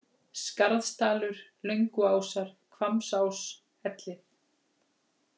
Skarðsdalur, Lönguásar, Hvammsás, Ellið